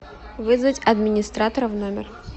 вызвать администратора в номер